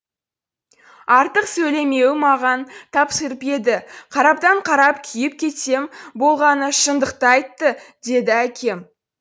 артық сөйлемеуін маған тапсырып еді қараптан қарап күйіп кетсем болғаны шындықты айтты деді әкем